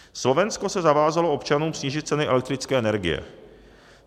Slovensko se zavázalo občanům snížit ceny elektrické energie.